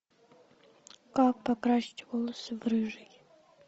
как покрасить волосы в рыжий